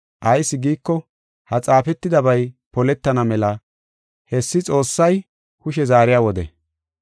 Ayis giiko, ha xaafetidabay poletana mela hessi Xoossay kushe zaariya wode.